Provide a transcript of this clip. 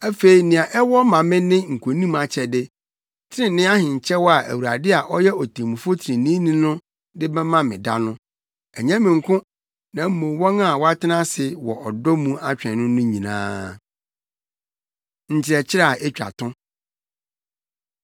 Afei nea ɛwɔ ma me ne nkonim akyɛde, trenee ahenkyɛw a Awurade a ɔyɛ Otemmufo treneeni no de bɛma me da no, ɛnyɛ me nko, na mmom, wɔn a wɔatena ase wɔ ɔdɔ mu atwɛn no no nyinaa. Nkyerɛkyerɛ A Etwa To